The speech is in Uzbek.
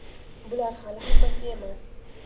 Bular hali hammasi emas.